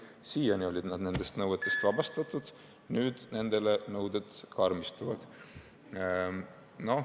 Siiani olid nad nendest nõuetest vabastatud, nüüd aga nendele nõuded karmistuvad.